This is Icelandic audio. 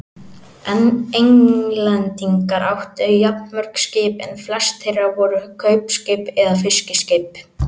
Englendingar áttu jafnmörg skip en flest þeirra voru kaupskip eða fiskiskip.